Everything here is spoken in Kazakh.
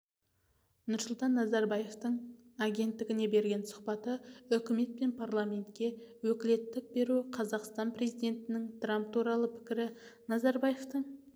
нұрсұлтан назарбаевтың агенттігіне берген сұхбаты үкімет пен парламентке өкілеттік беру қазақстан президентінің трамп туралы пікірі назарбаевтың